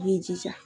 I b'i jija